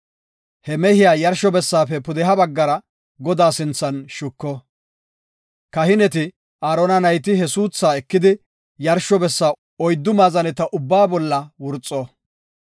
He mehiya yarsho bessaafe pudeha baggara Godaa sinthan shuko. Kahineti, Aarona nayti he suuthaa ekidi yarsho bessa oyddu maazaneta ubbaa bolla wurxo.